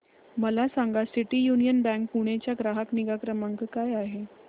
मला सांगा City Union Bank Pune चा ग्राहक निगा क्रमांक काय आहे